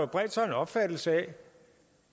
bredt sig en opfattelse af